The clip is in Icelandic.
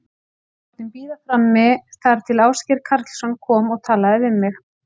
Ég var látin bíða frammi þar til Ásgeir Karlsson kom og talaði við mig.